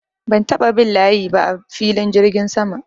Ban taɓa bin layi ba a filin jirgin sama.